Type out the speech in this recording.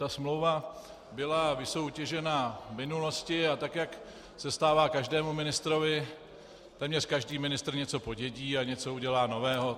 Ta smlouva byla vysoutěžena v minulosti, a tak jak se stává každému ministrovi, téměř každý ministr něco podědí a něco udělá nového.